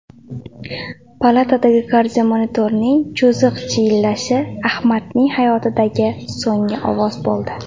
Palatadagi kardiomonitorning cho‘ziq chiyillashi Ahmadning hayotidagi so‘nggi ovoz bo‘ldi.